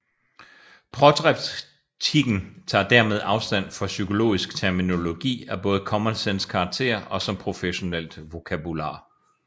Protreptikken tager dermed afstand fra psykologisk terminologi af både common sense karakter og som professionelt vokabular